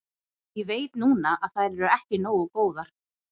Ég veit núna að þær eru ekki nógu góðar.